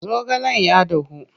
zaogalen ya dahu.